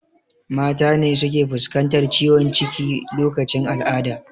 Mata ne suke fuskantar ciwon ciki lokacin al'ada